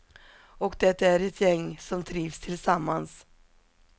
Och det är ett gäng som trivs tillsammans.